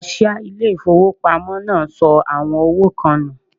Kaṣíá ilé ìfowópamọ́ náà sọ àwọn owó kan nù.